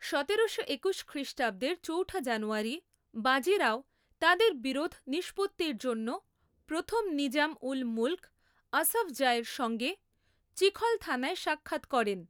সতেরোশো একুশ খ্রিষ্টাব্দের চৌঠা জানুয়ারি বাজিরাও তাদের বিরোধ নিষ্পত্তির জন্য প্রথম নিজাম উল মুল্ক আসফ জাহ এর সঙ্গে চিখলথানায় সাক্ষাৎ করেন।